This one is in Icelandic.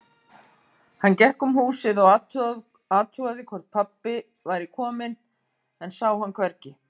Hann gekk um húsið og athugaði hvort pabbi væri kominn, en sá hann hvergi.